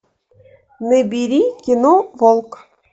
набери кино волк